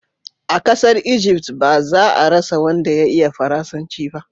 a kasar Ijift ba za a rasa wanda ya iya faransanci ba